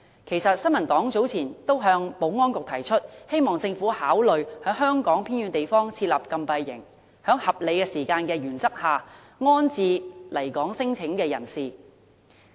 其實，新民黨早前已向保安局提出，希望政府考慮在香港偏遠地方設立禁閉營，在合理時間內安置來港聲請的人士。